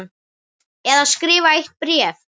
Eða skrifa eitt bréf?